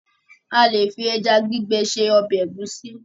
A lè fi ẹja gbígbẹ se ọbẹ̀ ẹ̀gúsí